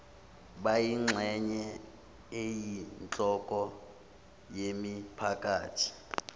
bayingxenye eyinhloko yemiphakathi